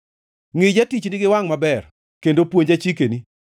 Ngʼi jatichni gi wangʼ maber kendo puonja chikeni.